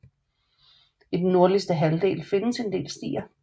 I den nordligste halvdel findes en del stier